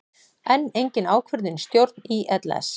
Enn engin ákvörðun í stjórn ÍLS